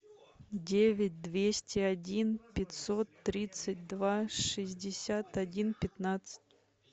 девять двести один пятьсот тридцать два шестьдесят один пятнадцать